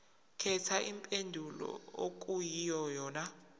khetha impendulo okuyiyona